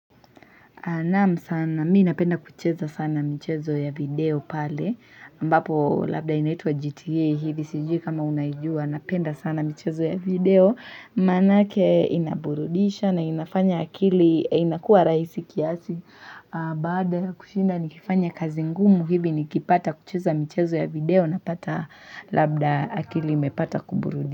Nam sana, mi napenda kucheza sana mchezo ya video pale, ambapo labda inaitwa GTA, hivi sijui kama unajua, napenda sana mchezo ya video, manake inaburudisha na inafanya akili, inakuwa rahisi kiasi, baada kushinda nikifanya kazi ngumu hivi nikipata kucheza mchezo ya video, napata labda akili imepata kuburudisha.